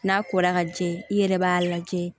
N'a ko la ka jɛ i yɛrɛ b'a lajɛ